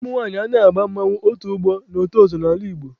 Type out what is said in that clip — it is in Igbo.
Ụmụnwaanyị anaghị aba mmanwụ, otu ọgbọ na otu ozo n'ala Igbo